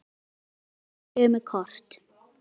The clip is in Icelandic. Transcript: Báðar útgáfur nota sömu kort.